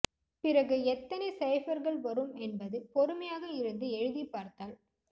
க்கு பிறகு எத்தனை சைபர்கள் வரும் என்பது பொறுமையாக இருந்து எழுதிப் பார்த்தால்